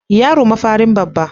Yaro mafarin babba.